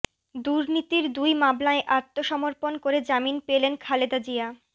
দুর্নীতির দুই মামলায় আত্মসমর্পণ করে জামিন পেলেন খালেদা জিয়া